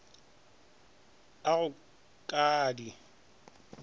a go ka a di